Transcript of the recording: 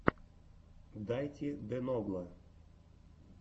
дайти де ногла